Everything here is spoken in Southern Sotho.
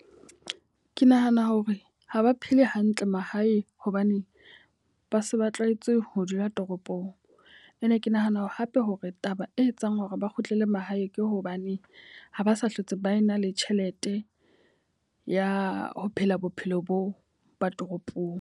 Ke nahana hore ha ba phele hantle mahae hobane ba se ba tlwaetse ho dula toropong. E ne ke nahana hape hore taba e etsang hore ba kgutlele mahae ke hobane ha ba sa hlotse ba na le tjhelete ya ho phela bophelo boo ba toropong.